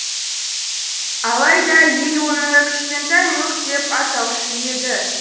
алайда ел оны кішкантай мук деп атаушы еді